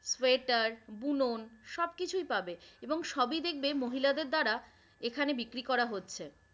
Sweater বুনন সবকিছুই পাবে এবং সবই দেখবে মহিলাদের দ্বারা এখানে বিক্রি করা হচ্ছে।